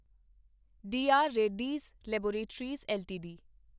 D R Reddy's laboratories LTD